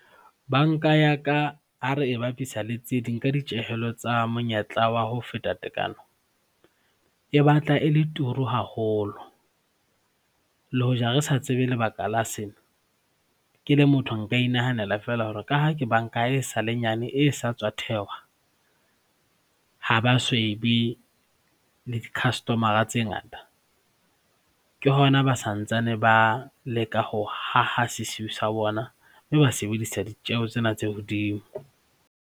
Banka ya ka ha re e bapisa le tse ding ka ditjehelo tsa monyetla wa ho feta tekano, e batla e le turu haholo le hoja re sa tsebe lebaka la sena. Ke le motho nka inahanela feela hore ka ha ke banka e sale nyane e sa tswa thehwa, ha ba so ebe le di-customer-a tse ngata, ke hona ba santsane ba leka ho aha sesiu sa bona mme ba sebedisa ditjeho tsena tse hodimo.